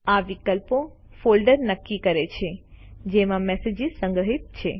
આ વિકલ્પો ફોલ્ડર નક્કી કરે છે જેમાં મેસેજીસ સંગ્રહિત છે